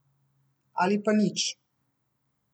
Ali pa nič.